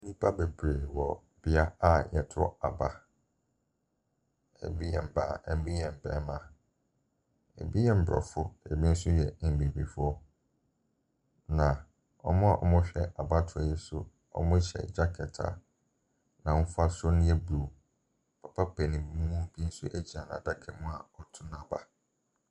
Nnipa bebree wɔ beaeɛ a wɔto aba. Ebi yɛ mmaa, ebi yɛ mmarima. Abi yɛ aborɔfo, ebi nso yɛ abibifoɔ, na wɔn a wɔrehwɛ abatoɔ yi so no, wɔhyɛ Jacket a n'ahofasuo no yɛ blue. Papa panin bi nso gyina n'adaka mu a ɔreto n'aba.